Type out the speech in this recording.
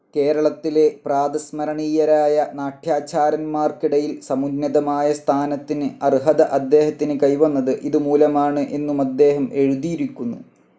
കേരളത്തിലെ പ്രാതസ്മരണീയരായ നാട്യാചാര്യന്മാർക്കിടയിൽ സമുന്നതമായ സ്ഥാനത്തിന് അർഹത അദ്ദേഹത്തിന് കൈവന്നത് ഇതുമൂലമാണ് എന്നുമദ്ദേഹം എഴുതിയിരിക്കുന്നു.